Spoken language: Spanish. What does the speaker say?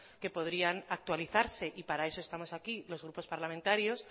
que podrían actualizarse y para eso estamos aquí los grupos parlamentarios